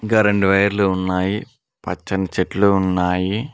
Current వైర్లు ఉన్నాయి పచ్చని చెట్లు ఉన్నాయి.